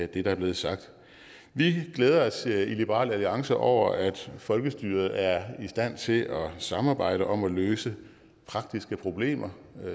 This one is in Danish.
det der er blevet sagt vi glæder os i liberal alliance over at folkestyret er i stand til at samarbejde om at løse praktiske problemer